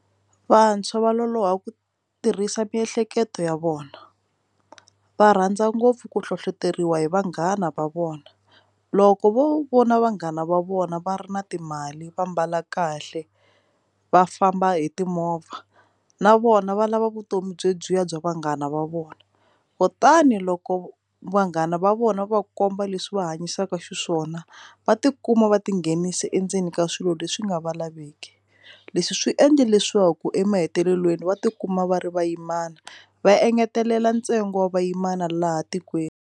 Vantshwa va loloha ku tirhisa miehleketo ya vona va rhandza ngopfu ku hlohloteriwa hi vanghana va vona loko vo vona vanghana va vona va ri na timali va mbala kahle va famba hi timovha na vona va lava vutomi byi lebyiya bya vanghana va vona kutani loko vanghana va vona va komba leswi va hanyisaka xiswona va tikuma va tinghenisa endzeni ka swilo leswi nga va laveki leswi swi endle leswaku emahetelelweni va tikuma va ri vayimana va engetelela ntsengo wa vayimana laha tikweni.